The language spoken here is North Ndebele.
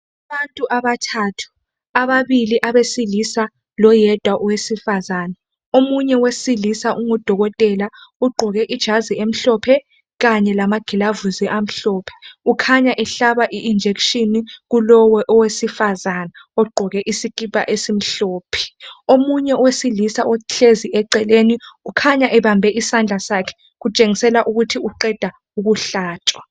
Abantu abathathu, ababili abesilisa loyedwa owesifazana, omunye wesilisa ungudokotela ugqoke ijazi emhlophe kanye lamagilavusi amhlophe. Ukhanya ehlaba i injection kulowo owesifazana ogqoke isikipha esimhlophe. Omunye owesilisa ohlezi eceleni ukhanya ebambe isandla sakhe kutshengisela ukuthi uqeda ukuhlathshwa